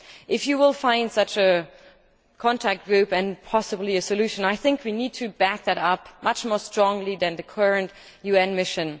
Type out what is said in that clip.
If you find such a contact group and possibly a solution, I think we need to back that up much more strongly than with the current UN mission.